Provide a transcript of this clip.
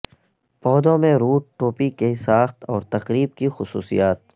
پودوں میں روٹ ٹوپی کی ساخت اور تقریب کی خصوصیات